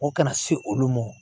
Ko kana se olu ma